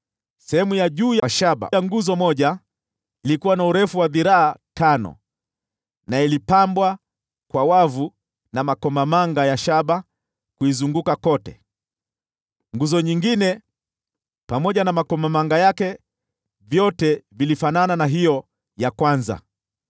Sehemu ya shaba juu ya ile nguzo moja ilikuwa na urefu wa dhiraa tano, na ilikuwa imepambwa kwa wavu na makomamanga ya shaba kuizunguka kote. Ile nguzo nyingine pamoja na makomamanga yake ilifanana na hiyo ya kwanza.